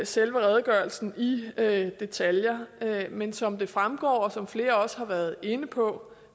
selve redegørelsen i detaljer men som det fremgår og som flere også har været inde på